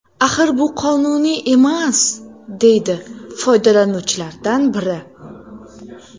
Axir bu qonuniy emas”, deydi foydalanuvchilardan biri.